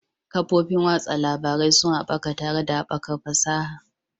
Kafofin watsa labarai sun haɓaka tare da haɓakar fasaha.